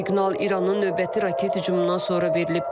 Siqnal İranın növbəti raket hücumundan sonra verilib.